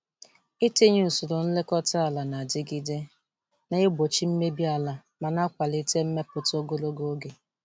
Itinye usoro nlekọta ala na-adigide na-egbochi mmebi ala ma na-akwalite mmepụta ogologo oge.